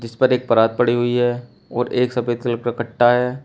इस पर एक परात पड़ी हुई है और एक सफेद कलर का कट्टा है।